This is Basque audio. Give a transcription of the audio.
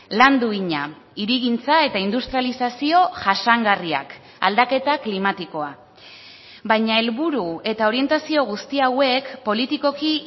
lan duina hirigintza eta industrializazio jasangarriak aldaketa klimatikoa baina helburu eta orientazio guzti hauek politikoki